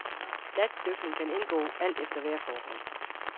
Natdykning kan indgå, alt efter vejrforhold.